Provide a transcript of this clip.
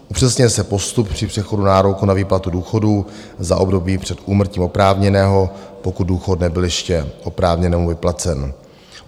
Upřesňuje se postup při přechodu nároku na výplatu důchodů za období před úmrtím oprávněného, pokud důchod nebyl ještě oprávněnému vyplacen.